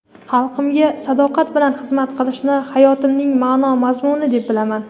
xalqimga sadoqat bilan xizmat qilishni hayotimning ma’no-mazmuni deb bilaman.